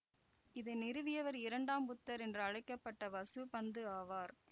இதனை நிறுவியவர் இரண்டாம் புத்தர் என்று அழைக்க பட்ட வசுபந்து ஆவார்